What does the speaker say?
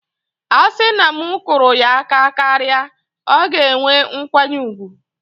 A sị na m kụrụ ya aka karịa, ọ ga-enwe nkwanye ùgwù